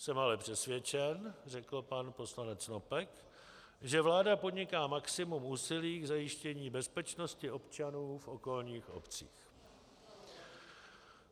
Jsem ale přesvědčen, řekl pan poslanec Snopek, že vláda podniká maximum úsilí k zajištění bezpečnosti občanů v okolních obcích.